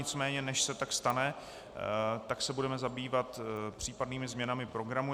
Nicméně než se tak stane, tak se budeme zabývat případnými změnami programu.